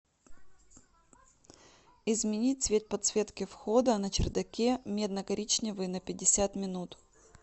изменить цвет подсветки входа на чердаке медно коричневый на пятьдесят минут